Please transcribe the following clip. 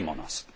Shame on us.